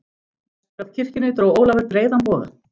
Vestur af kirkjunni dró Ólafur breiðan boga.